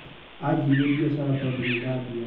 Ajirie biacara tondũ nindambia.